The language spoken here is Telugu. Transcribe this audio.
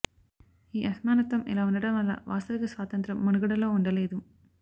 ఈ అసమానత్వం ఇలా ఉండడం వల్ల వాస్తవిక స్వాతంత్ర్యం మనుగడలో ఉండలేదు